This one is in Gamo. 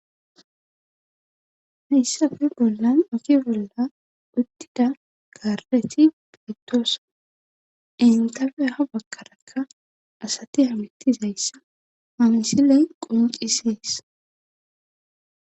Hayssafi bollan oki bolla udtida garreti peytoosa, entafe ha bakkarakka asati hamittizayssa mamisile quncisees.